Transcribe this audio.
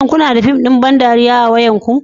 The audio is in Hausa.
Shin kuna da fim ɗin ban dariya a cikin wayarku